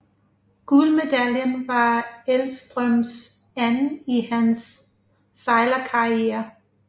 Guldmedaljen var Elvstrøms anden i hans sejlerkarriere